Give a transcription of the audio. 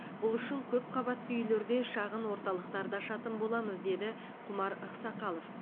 бұл үшін көпқабатты үйлерде шағын орталықтарды ашатын боламыз деді құмар ақсақалов